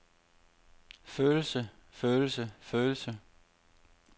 følelse følelse følelse